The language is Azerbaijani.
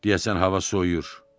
Deyəsən hava soyuyur.